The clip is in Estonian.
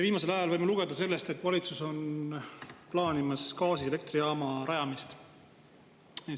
Viimasel ajal võime lugeda sellest, et valitsus plaanib gaasielektrijaama rajamist.